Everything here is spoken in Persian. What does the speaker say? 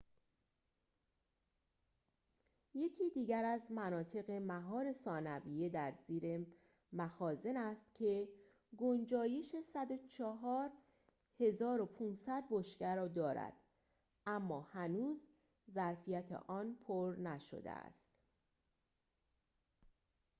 یکی دیگر از مناطق مهار ثانویه در زیر مخازن است که گنجایش ۱۰۴.۵۰۰ بشکه را دارد اما هنوز ظرفیت آن پر نشده است